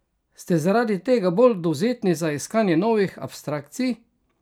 Ste zaradi tega bolj dovzetni za iskanja novih abstrakcij?